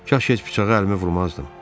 Kaş heç bıçağı əlimə vurmazdım.